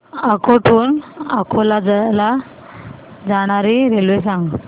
अकोट हून अकोला ला जाणारी रेल्वे सांग